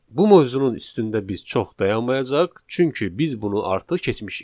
Bu mövzunun üstündə biz çox dayanmayacağıq, çünki biz bunu artıq keçmişik.